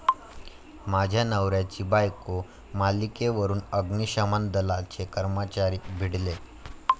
माझ्या नवऱ्याची बायको' मालिकेवरून अग्निशमन दलाचे कर्मचारी भिडले